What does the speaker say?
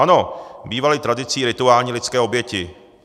Ano, bývaly tradicí rituální lidské oběti.